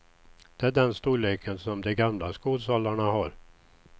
Det är den storleken som de gamla skolsalarna har.